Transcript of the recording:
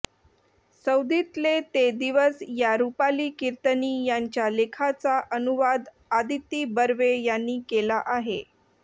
सौदीतले ते दिवस या रुपाली किर्तनी यांच्या लेखाचा अनुवाद आदिती बर्वे यांनी केला आहे